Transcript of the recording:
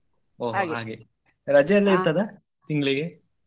ಹೋ ರಜೆಯಲ್ಲ ಇರ್ತದ ತಿಂಗ್ಳಿಗೆ?